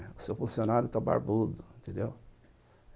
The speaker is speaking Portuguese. O seu funcionário barbudo, entendeu?